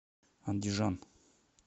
андижан